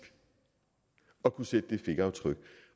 at kunne sætte det fingeraftryk